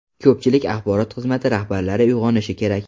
Ko‘pchilik axborot xizmati rahbarlari uyg‘onishi kerak.